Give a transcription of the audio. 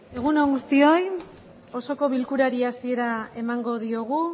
egun on guztioi osoko bilkurari hasiera emango diogu